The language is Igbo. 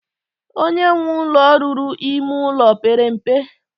Onye nwe ụlọ ruru ime ụlọ pere mpe.